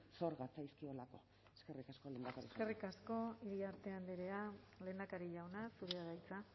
zor gatzaizkiolako eskerrik asko lehendakari eskerrik asko iriarte andrea lehendakari jauna zurea da hitza